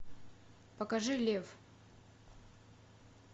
покажи лев